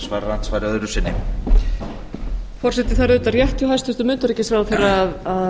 forseti það er auðvitað rétt hjá hæstvirtum utanríkisráðherra að